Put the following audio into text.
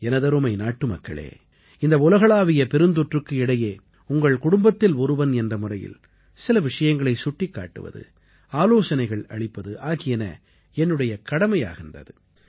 எனதருமை நாட்டுமக்களே இந்த உலகளாவிய பெருந்தொற்றுக்கு இடையே உங்கள் குடும்பத்தில் ஒருவன் என்ற முறையில் சில விஷயங்களைச் சுட்டிக் காட்டுவது ஆலோசனைகள் அளிப்பது ஆகியன என்னுடைய கடமையாகின்றது